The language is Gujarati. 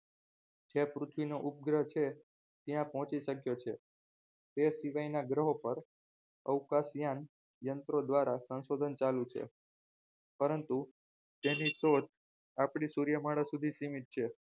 જે પૃથ્વીનો ઉપગ્રહ છે ત્યાં પહોંચી શક્યો છે તે સિવાયના ગ્રહો પર અવકાશયાન યંત્રો દ્વારા સંશોધન ચાલુ છે પરંતુ તેની શોધ આપણે સૂર્યમાળા સુધી સીમિત છે